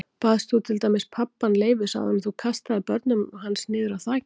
Baðst þú til dæmis pabbann leyfis áður en þú kastaðir börnunum hans niður af þakinu?